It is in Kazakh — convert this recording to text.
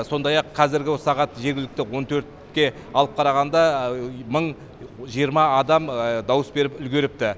сондай ақ қазіргі сағат жергілікті он төртке алып қарағанда мың жиырма адам дауыс беріп үлгеріпті